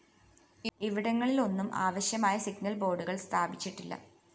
ഇവിടങ്ങളിെലാന്നും ആവശ്യമായ സിഗ്നൽ ബോര്‍ഡുകള്‍ സ്ഥാപിച്ചിട്ടില്ല